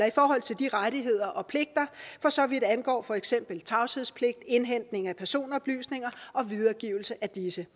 i forhold til de rettigheder og pligter for så vidt angår for eksempel tavshedspligt indhentning af personoplysninger og videregivelse af disse